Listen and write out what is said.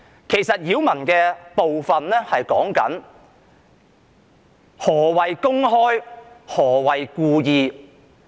其實，擾民所指的是何謂"公開"、何謂"故意"。